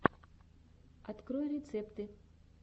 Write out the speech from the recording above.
открой рецепты